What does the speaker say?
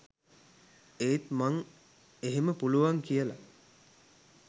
ඒත් මං එහෙම පුළුවන් කියලා